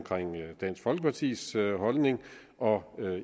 dansk folkepartis holdning og